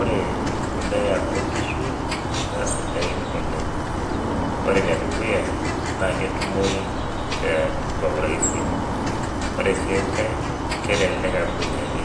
Ore embolea oonkishu naa Sidain oleng ore enedukuya naa ketumoyu kwa uraisi ore enkae kelelek amu meinyiang'i